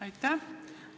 Aitäh!